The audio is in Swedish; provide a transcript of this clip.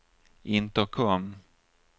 intercom